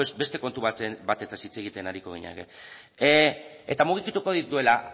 beste kontu batetaz hitz egiten ariko ginateke eta mugituko dituela